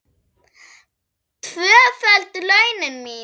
Tvöföld launin mín.